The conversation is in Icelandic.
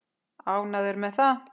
Ánægður með það?